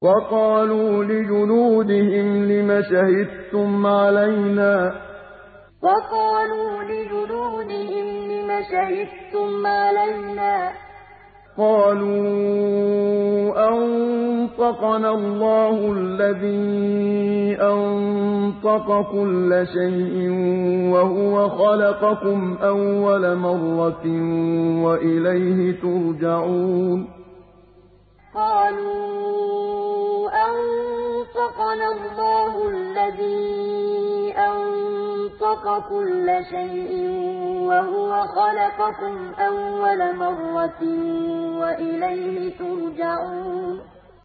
وَقَالُوا لِجُلُودِهِمْ لِمَ شَهِدتُّمْ عَلَيْنَا ۖ قَالُوا أَنطَقَنَا اللَّهُ الَّذِي أَنطَقَ كُلَّ شَيْءٍ وَهُوَ خَلَقَكُمْ أَوَّلَ مَرَّةٍ وَإِلَيْهِ تُرْجَعُونَ وَقَالُوا لِجُلُودِهِمْ لِمَ شَهِدتُّمْ عَلَيْنَا ۖ قَالُوا أَنطَقَنَا اللَّهُ الَّذِي أَنطَقَ كُلَّ شَيْءٍ وَهُوَ خَلَقَكُمْ أَوَّلَ مَرَّةٍ وَإِلَيْهِ تُرْجَعُونَ